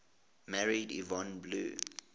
married yvonne blue